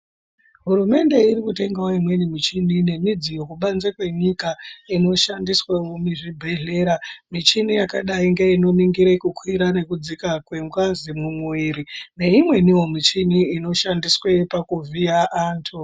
HUrumende irikutengawo imweni michini nemudziyo kubanze kwenyika inoshandiswawo muzvibhehlera michini yakadai ngei noningire kukwira nekudzika kwengazi mumuiri nei mweniwo michini inoshandiswe pakuvhiya antu